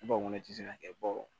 ne tɛ se ka kɛ